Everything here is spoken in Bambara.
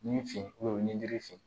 Ni fin ni jirifin